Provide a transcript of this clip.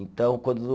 Então, quando